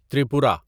Tripura